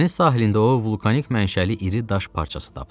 Dəniz sahilində o vulkanik mənşəli iri daş parçası tapdı.